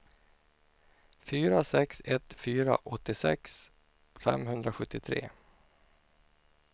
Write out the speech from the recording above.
fyra sex ett fyra åttiosex femhundrasjuttiotre